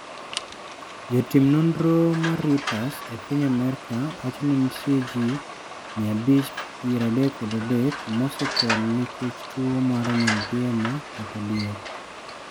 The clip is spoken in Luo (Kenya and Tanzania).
Jotim nonro mar Reuters e piny Amerka wacho ni nitie ji 533 mosetho nikech tuwo mar nyaldiema kata diep.